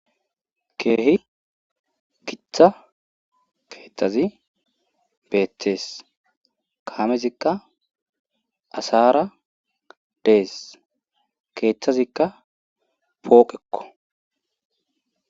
keehi giccha keeththazi beeththees kaamezikka asaara dees keeththazikka pooqekko